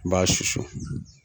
I b'a susu.